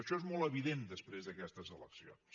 això és molt evident després d’aquestes eleccions